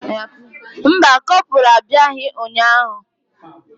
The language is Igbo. Mba, kopralu abịaghị ụnyahụ.